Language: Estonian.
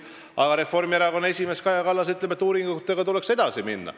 Samas aga Reformierakonna esimees Kaja Kallas ütleb, et uuringutega tuleks edasi minna.